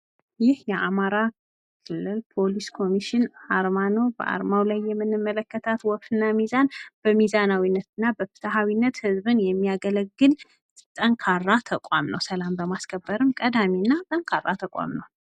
ይህ የአማራ ክልል ፖሊስ ኮሚሽን አርማ ነው ፤ በአርማው ላይ የምንመከታት ወፍ እና ሚዛን በሚዛናዊነት እና በፍትሃዊነት ህዝብን የሚያገለግል ጠንካራ ተቋም ነው ፤ ሰላም በማስከበርም ቀዳሚ እና ጠንካራ ተቋም ነው።